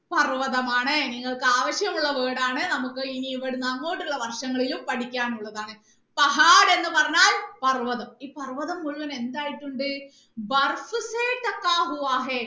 പർവ്വതമാണ് നിങ്ങൾക്ക് ആവശ്യമുള്ള word ആണ് നമുക്ക് ഇനി ഇവിടുന്ന് അങ്ങോട്ട് ഉള്ള വർഷങ്ങളിലും പഠിക്കാൻ ഉള്ളതാണ് എന്ന് പറഞ്ഞാൽ പർവ്വതം ഈ പർവ്വതം മുഴുവൻ എന്തായിട്ടുണ്ട്